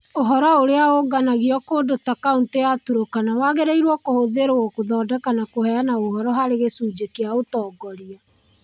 Ũhoro ũrĩa ũũnganagio kũndũ ta Kaunti ya Turkana wagĩrĩirũo kũhũthĩrũo gũthondeka na kũheana ũhoro harĩ "gĩcunjĩ kĩa ũtongoria".